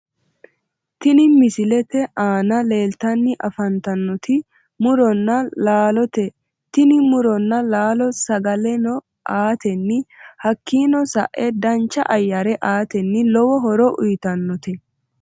Tini misilete aana leeltanni afantannoti muronna laalote tini muronna laalo sagaleno aatenni hakkii sa'eno dancha ayyare aatenni lowo horo uyitannote